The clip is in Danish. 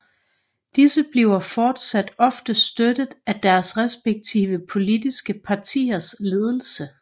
Disse bliver fortsat ofte støttet af deres respektive politiske partiers ledelse